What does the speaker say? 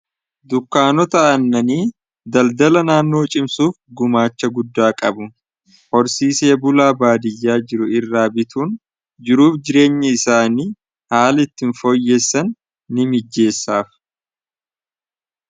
Dukkaanota annanii daldala naannoo cimsuuf gumaacha guddaa qabu horsiisee bulaa baadiyyaa jiru irraa bituun jiruuf jireenya isaanii haali itti hin fooyyeessan ni mijjeessaaf.